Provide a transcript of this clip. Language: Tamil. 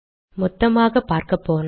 மொத்தமாக பார்க்கப்போனால்